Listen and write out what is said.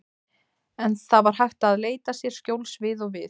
En það var hægt að leita sér skjóls við og við.